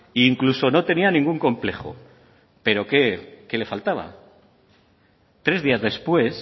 e incluso no tenía ningún complejo pero qué le faltaba tres días después